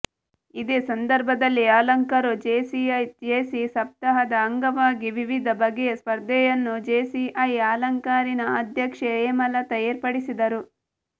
ಇದೇ ಸಂದರ್ಭದಲ್ಲಿ Alankaru JCI JC ಸಪ್ತಾಹದ ಅಂಗವಾಗಿ ವಿವಿಧ ಬಗೆಯ ಸ್ಪರ್ಧೆಯನ್ನು ಜೇಸಿಐ ಆಲಂಕಾರಿನ ಅಧ್ಯಕ್ಷೆ ಹೇಮಲತಾ ಏರ್ಪಡಿಸಿದರು